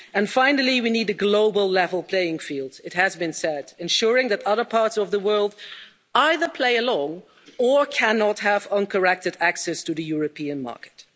And finally, we need a global, level playing field, it has been said, ensuring that other parts of the world either play along or cannot have uncorrected access to the European market.